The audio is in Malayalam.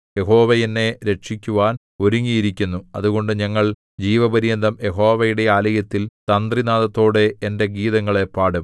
യഹോവ എന്നെ രക്ഷിക്കുവാൻ ഒരുങ്ങിയിരിക്കുന്നു അതുകൊണ്ട് ഞങ്ങൾ ജീവപര്യന്തം യഹോവയുടെ ആലയത്തിൽ തന്ത്രിനാദത്തോടെ എന്റെ ഗീതങ്ങളെ പാടും